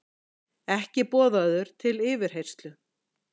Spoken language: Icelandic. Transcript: Ekki boðaður til yfirheyrslu